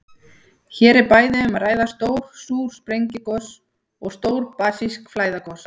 Hér er bæði um að ræða stór súr sprengigos og stór basísk flæðigosa.